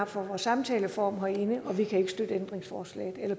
for samtaleformen herinde og vi kan ikke støtte